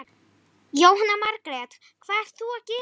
Jóhanna Margrét: Hvað ert þú að gera?